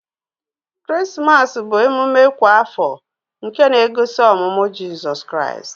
Krismas bu emume kwa afọ nke na egosi ọmụmụ jisọs kraist.